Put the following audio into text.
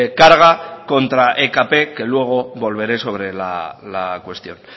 carga contra ekp que luego volveré sobre la cuestión